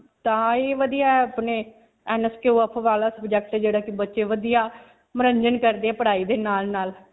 ਤਾਂ ਹੀ ਵਧਿਆ ਹੈ ਵਾਲਾ subject ਜਿਹੜਾ ਕਿ ਬੱਚੇ ਵਧਿਆ ਮਨੋਰੰਜਨ ਕਰਦੇ ਪੜ੍ਹਾਈ ਦੇ ਨਾਲ-ਨਾਲ.